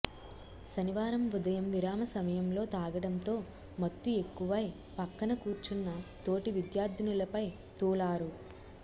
శనివారం ఉదయం విరామ సమయంలో తాగడంతో మత్తు ఎక్కువై పక్కన కూర్చున్న తోటి విద్యార్థినులపై తూలారు